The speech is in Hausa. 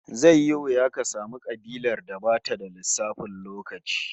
Zai yi wuya ka samu kabilar da bata da lissafin lokaci